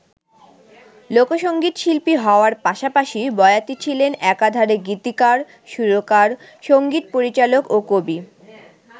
লোকসংগীতশিল্পী হওয়ার পাশাপাশি বয়াতি ছিলেন একাধারে গীতিকার, সুরকার, সংগীত পরিচালক ও কবি।